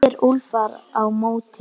spyr Úlfar á móti?